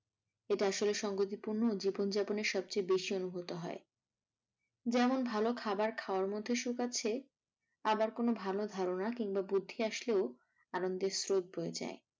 এটা আসলে সঙ্গতিপূর্ণ জীবনযাপনে সবচে বেশি অনুভূত হয় যেমন ভালো খাবার খাওয়ার মধ্যে সুখ আছে আবার কোনো ভালো ধারণা কিংবা বুদ্ধি আসলেও আনন্দের স্রোত বয়ে যায়।